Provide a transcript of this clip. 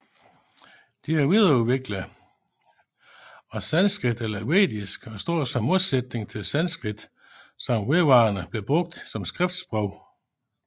De er videreudviklinget af sanskrit eller vedisk og står som modsætning til sanskrit som vedvarende blev brugt som skriftsprog